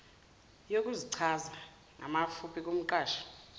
yokuzichaza ngamafuphi kumqashi